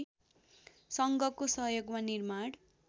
सङ्घको सहयोगमा निर्माण